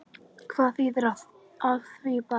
Hvað þýðir af því bara?